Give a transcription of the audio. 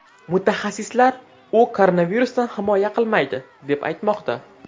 Mutaxassislar u koronavirusdan himoya qilmaydi, deb aytmoqda.